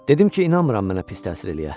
Dedim ki, inanmıram mənə pis təsir eləyə.